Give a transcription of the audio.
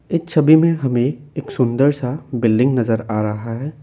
इस छवि में हमें एक सुंदर सा बिल्डिंग नजर आ रहा है।